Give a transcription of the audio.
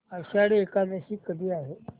आषाढी एकादशी कधी आहे